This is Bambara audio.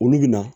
Olu bɛ na